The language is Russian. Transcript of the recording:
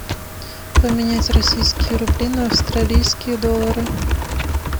поменять российские рубли на австралийские доллары